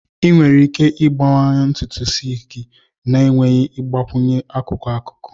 Ị nwere ike ịgbanye ntutu isi gị na-enweghị ịgbakwunye akụkụ-akụkụ.